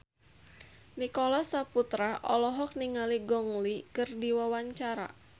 Nicholas Saputra olohok ningali Gong Li keur diwawancara